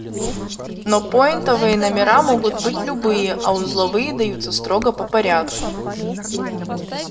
но пойнтовые номера могут быть любые а узловые даются строго по порядку